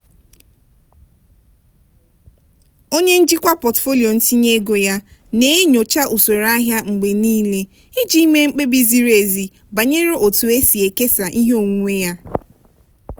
onye njikwa pọtụfoliyo ntinye ego ya na-enyocha usoro ahịa mgbe niile iji mee mkpebi ziri ezi banyere otu e si ekesa ihe onwunwe ya.